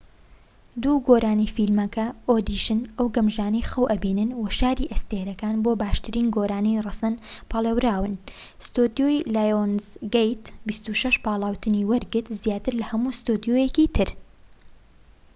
دوو گۆرانی فیلمەکە، ئۆدیشن ئەو گەمژانەی خەو ئەبینن و شاری ئەستێرەکان، بۆ باشترین گۆرانی ڕەسەن پاڵێوران. ستۆدیۆی لایۆنزگەیت 26 پاڵاوتنی وەرگرت - زیاتر لە هەموو ستۆدیۆیەکی تر